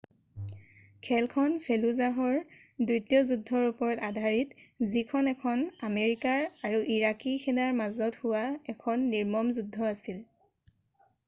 খেলখন ফেলুজাহৰ দ্বিতীয় যুদ্ধৰ ওপৰত আধাৰিত যিখন এখন আমেৰিকাৰ আৰু ইৰাকী সেনাৰ মাজত হোৱা এখন নিৰ্মম যুদ্ধ আছিল